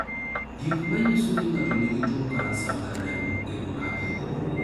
Gik manyiso ni ng'ato nigi tuwo kansa mar remo gin mage?